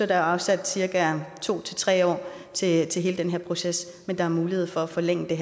der afsat cirka to tre år til hele den her proces men der er mulighed for at forlænge det